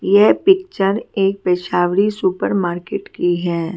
यह पिक्चर एक पेशावरी सुपर मार्केट की है।